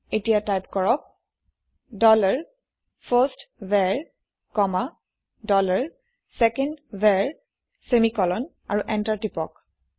এতিয়া টাইপ কৰক dollar first var comma dollar second var semicolon আৰু এন্টাৰ প্ৰেছ কৰক